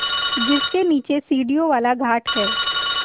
जिसके नीचे सीढ़ियों वाला घाट है